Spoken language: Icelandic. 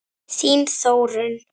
Þín Þórunn.